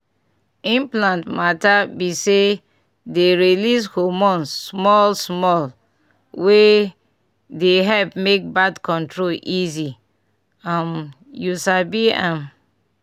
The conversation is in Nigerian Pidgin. implant mata b saye dey release hormone small-smallwey dey help make birth control easy um u sabi m small pause.